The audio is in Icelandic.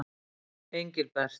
Engilbert